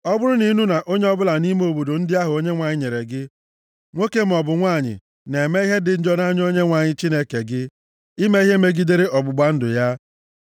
Ọ bụrụ na ị nụ na onye ọbụla nʼime obodo ndị ahụ Onyenwe anyị nyere gị, nwoke maọbụ nwanyị na-eme ihe dị njọ nʼanya Onyenwe anyị Chineke gị ime ihe megidere ọgbụgba ndụ ya,